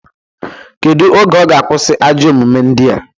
Kedu oge ọ ga-akwụsị ajọ omume ndia?